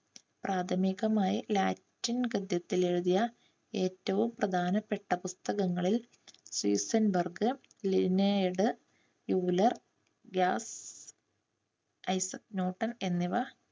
പ്രാഥമികമായി ലാറ്റിൻ ഗദ്യത്തിൽ എഴുതിയ ഏറ്റവും പ്രധാനപ്പെട്ട പുസ്തകങ്ങളിൽ സീസൻ ബർഗ്, ലിയോണാർഡ്, ഫ്യൂല്ലർ, ഗ്യാഫ്, ഐസക് ന്യൂട്ടൻ എന്നിവ